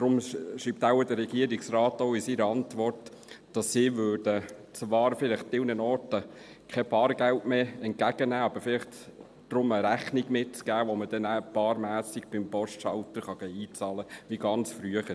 Deshalb schreibt der Regierungsrat in seiner Antwort wohl auch, dass sie zwar an gewissen Orten teilweise kein Bargeld mehr entgegennehmen würden, aber vielleicht stattdessen eine Rechnung mitgeben würden, die man dann bar am Postschalter einzahlen kann, wie ganz früher.